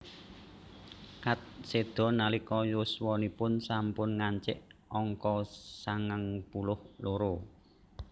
Katz séda nalika yuswanipun sampun ngancik angka sangang puluh loro